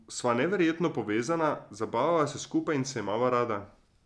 Sva neverjetno povezana, zabavava se skupaj in se imava rada.